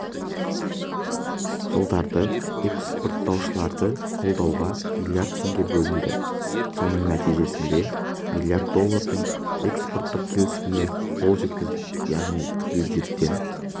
жылдары экспорттаушыларды қолдауға миллиард теңге бөлінді соның нәтижесінде миллиард доллардың экспорттық келісіміне қол жеткіздік яғни бюджеттен